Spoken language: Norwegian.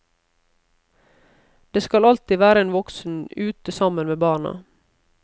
Det skal alltid være en voksen ute sammen med barna.